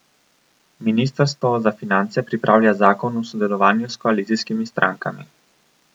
Ministrstvo za finance pripravlja zakon v sodelovanju s koalicijskimi strankami.